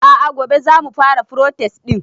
a'a gobe zamu fara protest din